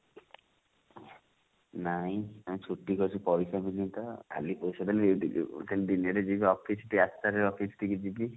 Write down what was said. ନାଇଁ ଆମେ ଛୁଟି କରିଛୁ ପଇସା ମିଳିନି ତ ଆଗେ ପଇସା ଟା ନେଇକି ଯିବୁ then ଦିନ ରେ ଯିଏ ଯଉ office ଟିକେ ଆଠ ଟା ରେ office ଠି କି ଯିବି